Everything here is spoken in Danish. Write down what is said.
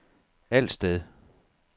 Alsted